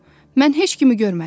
Mən heç kimi görmədim.